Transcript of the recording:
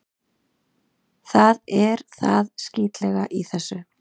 Það er það skítlega í þessu.